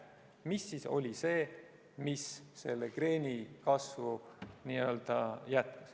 Mis siis oli see, mis põhjustas kreeni kasvu?